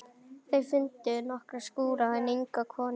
Þau fundu nokkra skúra en enga konu í þeim.